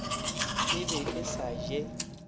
e be e sa je